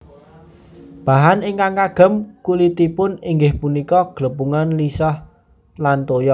Bahan ingkang kagem kulitipun inggih punika glepungan lisah lan toya